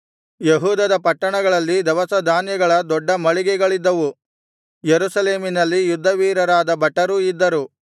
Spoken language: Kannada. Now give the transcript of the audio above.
ಯೆಹೂದದ ಪಟ್ಟಣಗಳಲ್ಲಿ ದವಸಧಾನ್ಯಗಳ ದೊಡ್ಡ ಮಳಿಗೆಗಳಿದ್ದವು ಯೆರೂಸಲೇಮಿನಲ್ಲಿ ಯುದ್ಧವೀರರಾದ ಭಟರೂ ಇದ್ದರು